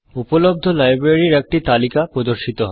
উপলব্ধ লাইব্রেরির একটি তালিকা প্রদর্শিত হবে